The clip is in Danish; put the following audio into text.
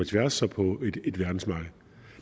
tværs og på et verdensmarked